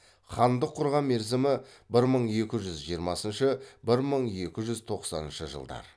хандық құрған мерзімі бір мың екі жүз жиырмасыншы бір мың екі жүз тоқсаныншы жылдар